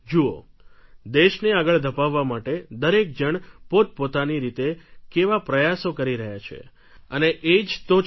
જુઓ દેશને આગળ ધપાવવા માટે દરેક જણ પોતપોતાની રીતે કેવા પ્રયાસો કરી રહ્યા છે અને જ તો છે